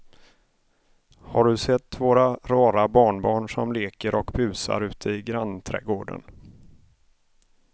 Har du sett våra rara barnbarn som leker och busar ute i grannträdgården!